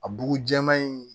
A bugu jɛlen